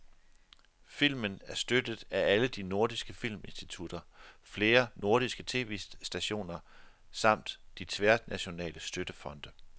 Filmen er støttet af alle de nordiske filminstitutter, flere nordiske tv-stationer samt de tværnationale støttefonde.